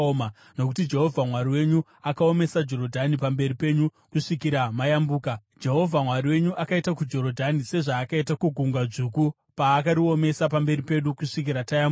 Nokuti Jehovha Mwari wenyu akaomesa Jorodhani pamberi penyu kusvikira mayambuka. Jehovha Mwari wenyu akaita kuJorodhani sezvaakaita kuGungwa Dzvuku paakariomesa pamberi pedu kusvikira tayambuka.